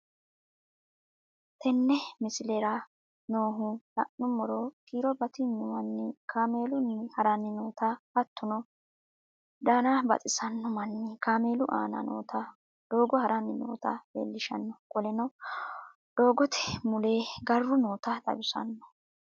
Tenne misleraa nooha lannumoro kiiro batignuu manni kamelunni haranni nootana hattono danaa babaxinno manni kamellu anna nootana doggo haranni nootano lelishanno kolenno dogotte mulle garru noota xawissano